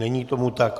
Není tomu tak.